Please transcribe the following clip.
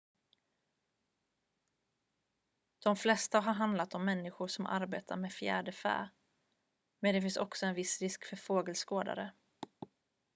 de flesta har handlat om människor som arbetar med fjäderfä men det finns också en viss risk för fågelskådare